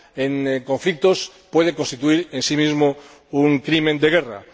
en conflictos puede constituir en sí misma un crimen de guerra.